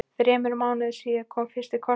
Þremur mánuðum síðar kom fyrsti kossinn.